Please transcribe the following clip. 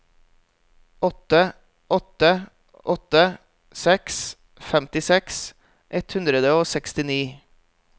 åtte åtte åtte seks femtiseks ett hundre og sekstini